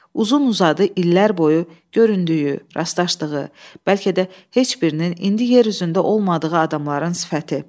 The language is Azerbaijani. Uzun-uzadı illər boyu göründüyü, rastlaşdığı, bəlkə də heç birinin indi yer üzündə olmadığı adamların sifəti.